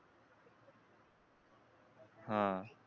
हा